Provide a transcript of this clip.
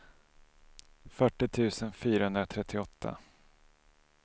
fyrtio tusen fyrahundratrettioåtta